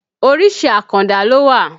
Orísìí àkàndá ló wà